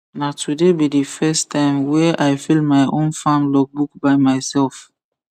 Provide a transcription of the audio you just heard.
na today be the first time were i fill my own farm logbook by myself